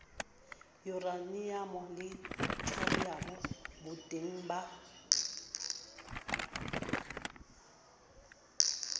yuraniamo le thoriamo boteng ba